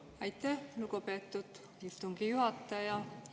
Aitäh, lugupeetud istungi juhataja!